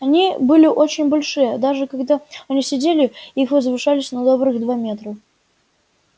они были очень большие даже когда они сидели их возвышались на добрых два метра